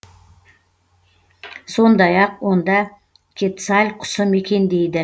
сондай ақ онда кетсаль құсы мекендейді